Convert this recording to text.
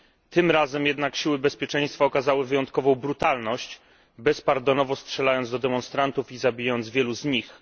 Tym razem jednak siły bezpieczeństwa okazały wyjątkową brutalność, bezpardonowo strzelając do demonstrantów i zabijając wielu z nich.